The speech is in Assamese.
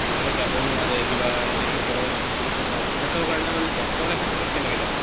বুলে যাব নোৱাৰে কিবা এনেকা খৰচ কৰিব নোৱাৰে, তে হেতৰ কাৰণে মানে doctor ৰে হেতৰ তাত কেনেকে যাব